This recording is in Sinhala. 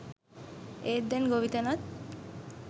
ඒත් දැන් ගොවිතැනත්